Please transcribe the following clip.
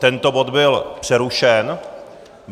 Tento bod byl přerušen.